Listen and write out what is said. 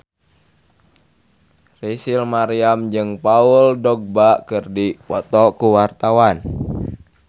Rachel Maryam jeung Paul Dogba keur dipoto ku wartawan